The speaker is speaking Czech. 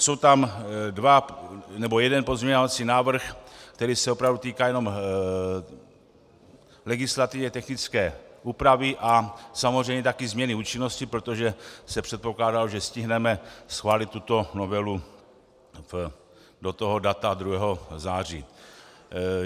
Jsou tam dva nebo jeden pozměňovací návrh, který se opravdu týká jenom legislativně technické úpravy a samozřejmě také změny účinnosti, protože se předpokládalo, že stihneme schválit tuto novelu do toho data 2. září.